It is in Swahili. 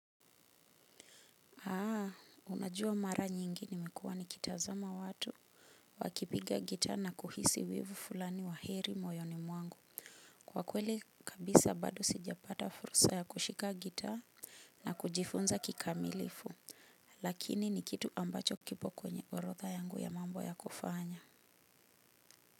Unajua mara nyingi nimekuwa nikitazama watu wakipiga gitaa na kuhisi wivu fulani wa heri moyoni mwangu. Kwa kweli kabisa bado sijapata fursa ya kushika gitaa na kujifunza kikamilifu, lakini ni kitu ambacho kipo kwenye orodha yangu ya mambo ya kufanya.